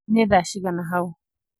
Nĩ thaa cigana hau